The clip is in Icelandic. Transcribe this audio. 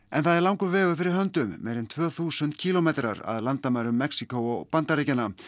en það er langur vegur fyrir höndum meira en tvö þúsund kílómetrar að landamærum Mexíkó og Bandaríkjanna